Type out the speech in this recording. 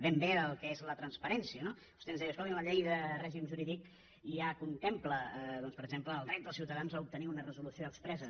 ben bé el que és la transparència no vostè ens deia escolti’m la llei de règim jurídic ja contempla doncs per exemple el dret dels ciutadans a obtenir una resolució expressa